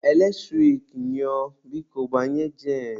Eletrik nyụọ, biko gbanye jen.